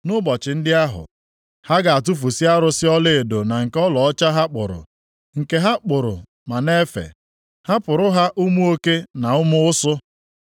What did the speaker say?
Nʼụbọchị ndị ahụ, ha ga-atụfusị arụsị ọlaedo na nke ọlaọcha ha kpụrụ, nke ha kpụrụ ma na-efe, hapụrụ ha ụmụ oke, na ụmụ ụsụ.